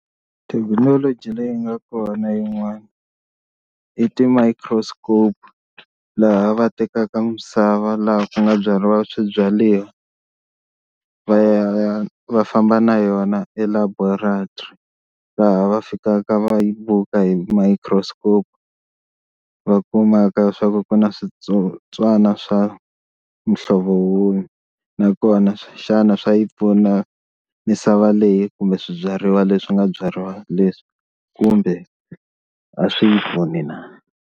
Thekinoloji leyi nga kona yin'wana i ti-microscope laha va tekaka misava laha ku nga byariwa swibyariwa va ya va famba na yona e laboratory laha va fikaka va yi bukha hi microscope va kumaka swa ku ku na switsotswana swa muhlovo wini nakona xana swa yi pfuna misava leyi kumbe swibyariwa leswi nga byariwa leswi kumbe a swi yi pfuni na.